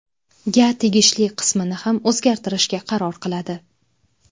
ga tegishli qismini ham o‘zlashtirishga qaror qiladi.